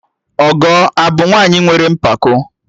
Ọgọ abụ nwaanyị nwere mpako?